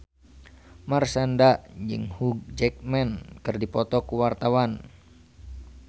Marshanda jeung Hugh Jackman keur dipoto ku wartawan